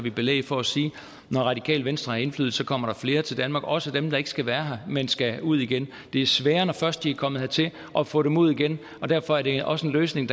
vi belæg for at sige når radikale venstre har indflydelse kommer der flere til danmark også dem der ikke skal være her men skal ud igen det er sværere når først de er kommet hertil at få dem ud igen og derfor er det også en løsning